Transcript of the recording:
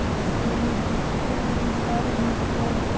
E você disse que tem histórias muito boas.